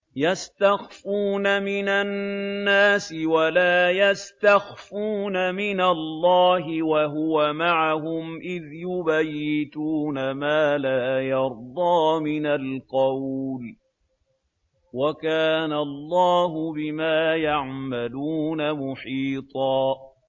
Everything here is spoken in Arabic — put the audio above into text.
يَسْتَخْفُونَ مِنَ النَّاسِ وَلَا يَسْتَخْفُونَ مِنَ اللَّهِ وَهُوَ مَعَهُمْ إِذْ يُبَيِّتُونَ مَا لَا يَرْضَىٰ مِنَ الْقَوْلِ ۚ وَكَانَ اللَّهُ بِمَا يَعْمَلُونَ مُحِيطًا